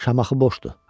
Şamaxı boşdu.